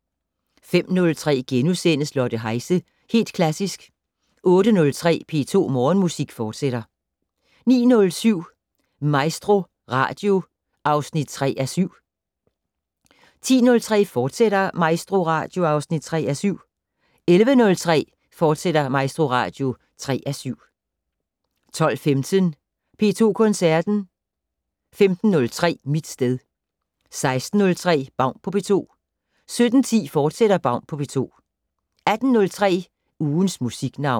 05:03: Lotte Heise - Helt Klassisk * 08:03: P2 Morgenmusik, fortsat 09:07: MaestroRadio (3:7) 10:03: MaestroRadio, fortsat (3:7) 11:03: MaestroRadio, fortsat (3:7) 12:15: P2 Koncerten 15:03: Mit sted 16:03: Baun på P2 17:10: Baun på P2, fortsat 18:03: Ugens Musiknavn